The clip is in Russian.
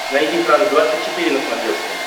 найди франс двадцать четыре на смотрешке